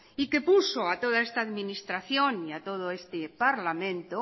y que puso a toda esta administración y a todo este parlamento